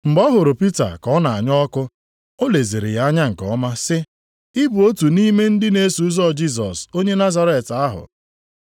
Mgbe ọ hụrụ Pita ka ọ na-anya ọkụ, o leziri ya anya nke ọma, sị, “Ị bụ otu nʼime ndị na-eso Jisọs onye Nazaret ahụ.”